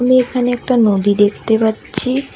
আমি এইখানে একটা নদী দেখতে পাচ্ছি।